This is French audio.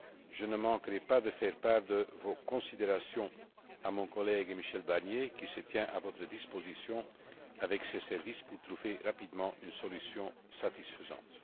Je ne manquerai pas de faire part de vos considérations à mon collègue, Michel Barnier, qui se tient à votre disposition, avec ses services, pour trouver rapidement une solution satisfaisante.